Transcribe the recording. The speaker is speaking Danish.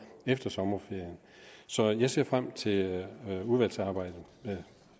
efter sommerferien så jeg ser frem til udvalgsarbejdet